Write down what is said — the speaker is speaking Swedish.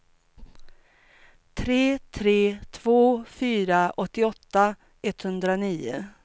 tre tre två fyra åttioåtta etthundranio